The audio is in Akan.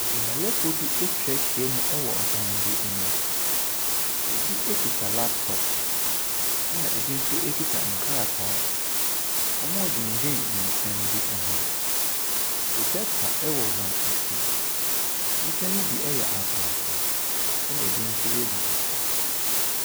Dwumayɛfoɔ ɛtwahyia mu wɔ ɛdan bi mu. Ebi ekuta laptop, ɛna ebi nso ekuta nkrataa. Wɔɔdwendwen nsɛm bi ho. Projector ɛwɔ wɔn ɛkyi, nnipa no bi ɛyɛ abrɔfo ɛna ebi nso yɛ abibifoɔ.